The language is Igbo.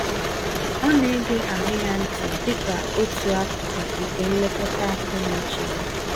Ọ na-ege ahụ ya ntị dịka otu akụkụ nke nlekọta akọ-n'uche ya